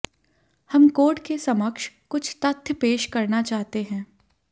हम कोर्ट के समक्ष कुछ तथ्य पेश करना चाहते हैं